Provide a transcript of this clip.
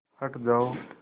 हट जाओ